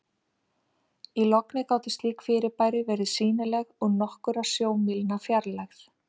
Í logni gátu slík fyrirbæri verið sýnileg úr nokkurra sjómílna fjarlægð.